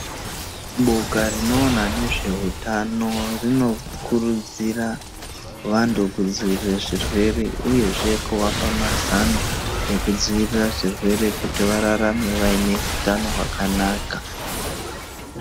Boka rinoona nezvehutano rinokurudzira vantu kudzivirire zvirwere uyezve kuvapa mazano, ekudzivirira zvirwere kuti vararame vaine hutano hwakanaka.